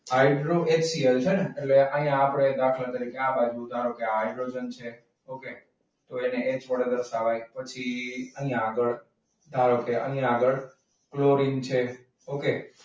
Hydro HCL છે ને એટલે આપણે અહીંયા દાખલા તરીકે તો એને H વડે દર્શાવાય. પછી અહીંયા આગળ ધારો કે અહીં આગળ ક્લોરિન છે. okay?